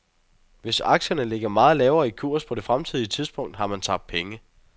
Hvis aktierne ligger meget lavere i kurs på det fremtidige tidspunkt har man tabt penge.